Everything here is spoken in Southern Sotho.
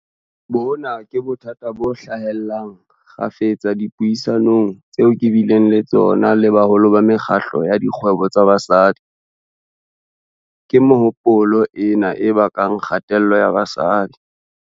Bona ke bothata bo hlahellang kgafetsa dipuisanong tseo ke bileng le tsona le boholo ba mekgatlo ya dikgwebo tsa basadi. Ke mehopolo ena e bakang kgatello ya basadi.